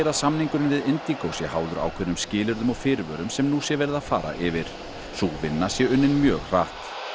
samningurinn við sé háður ákveðnum skilyrðum og fyrirvörum sem nú sé verið að fara yfir sú vinna sé unnin mjög hratt